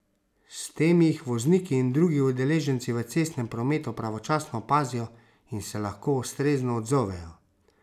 S tem jih vozniki in drugi udeleženci v cestnem prometu pravočasno opazijo in se lahko ustrezno odzovejo.